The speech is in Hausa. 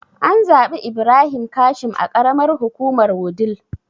An zaɓi Ibrahim Kashim a karamar hukumar wudil